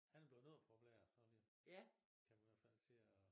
Han er blevet populær sådan kan man i hvert fald sige og